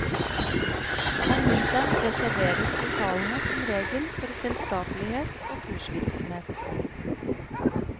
Om vinteren reserveres lokalene som regel for selskapelighet og kursvirksomhet.